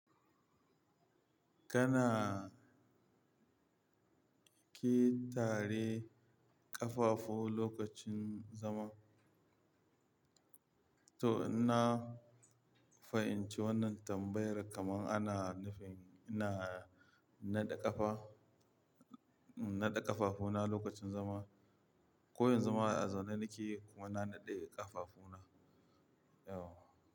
Kanaa ƙetare ƙafafu lokacin zama. To in na fahimci wannan tambayar kaman ana nufin ina naɗe ƙafa, naɗe ƙafafuna lokacin zama. Ko yanzu ma ai a zaune nake kuma na naɗe ƙafafuna? Yauwa.